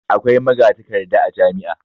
Akwai magatakarda a jami'a.